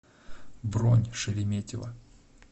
бронь шереметьево